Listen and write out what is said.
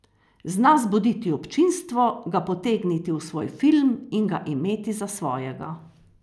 Zna zbuditi občinstvo, ga potegniti v svoj film in ga imeti za svojega.